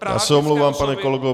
Já se omlouvám, pane kolego.